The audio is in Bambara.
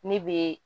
Ne bɛ